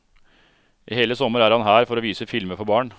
I hele sommer er han her for å vise filmer for barn.